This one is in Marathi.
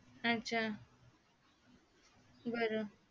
अच्चा बर